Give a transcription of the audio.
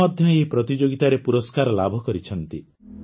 ସେ ମଧ୍ୟ ଏହି ପ୍ରତିଯୋଗିତାରେ ପୁରସ୍କାର ଲାଭ କରିଛନ୍ତି